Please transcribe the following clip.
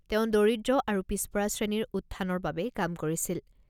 তেওঁ দৰিদ্ৰ আৰু পিছপৰা শ্ৰেণীৰ উত্থানৰ বাবে কাম কৰিছিল।